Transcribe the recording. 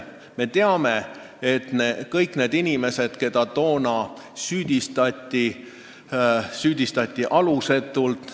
Me teame, et kõiki neid inimesi, keda toona süüdistati, süüdistati alusetult.